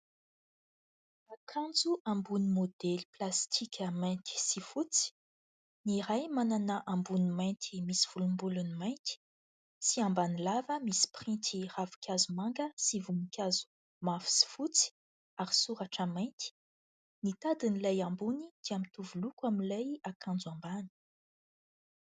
Akanjo ambony maodely plastika mainty sy fotsy. Ny iray manana ambony mainty misy volombolony mainty sy ambany lava misy pirinty ravinkazo manga sy voninkazo mavo sy fotsy ary soratra mainty. Ny tadiny ilay ambony dia mitovy loko amin'ilay akanjo ambany.